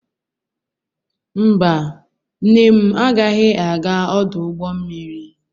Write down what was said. Mba, nne m agaghị aga ọdụ ụgbọ mmiri.